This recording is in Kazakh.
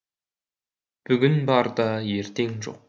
бүгін бар да ертең жоқ